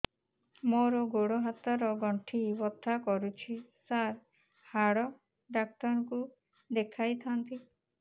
ମୋର ଗୋଡ ହାତ ର ଗଣ୍ଠି ବଥା କରୁଛି ସାର ହାଡ଼ ଡାକ୍ତର ଙ୍କୁ ଦେଖାଇ ଥାନ୍ତି